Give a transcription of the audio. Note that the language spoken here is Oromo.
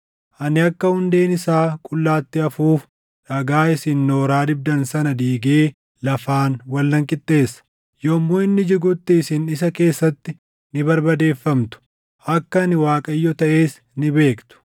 Ani akka hundeen isaa qullaatti hafuuf dhagaa isin nooraa dibdan sana diigee lafaan wal nan qixxeessa. Yommuu inni jigutti isin isa keessatti ni barbadeeffamtu; akka ani Waaqayyo taʼes ni beektu.